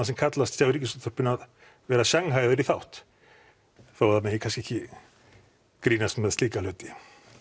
sem kallast hjá Ríkisútvarpinu að vera í þátt þó að það megi kannski ekki grínast með slíka hluti